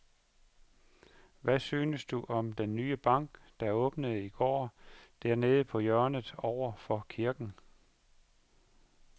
Hvad synes du om den nye bank, der åbnede i går dernede på hjørnet over for kirken?